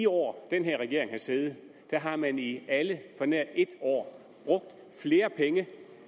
år den her regering har siddet har man i alle på nær et år brugt flere penge